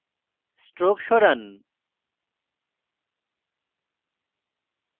stroke সরান